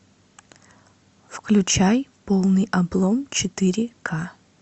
включай полный облом четыре ка